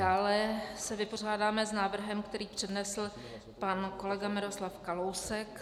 Dále se vypořádáme s návrhem, který přednesl pan kolega Miroslav Kalousek.